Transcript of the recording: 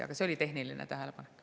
Aga see oli tehniline tähelepanek.